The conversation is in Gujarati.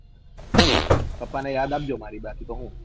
હમ પપ્પા ને યાદ આપ જે મારી હું